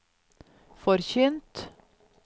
forkynt